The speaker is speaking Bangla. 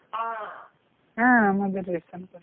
হ্যা আমাদের রেশন card